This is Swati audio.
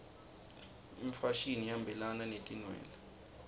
imfashini ihambelana netinwele